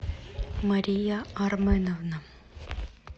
мария арменовна